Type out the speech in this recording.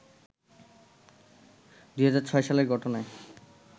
২০০৬ সালে ঘটনায়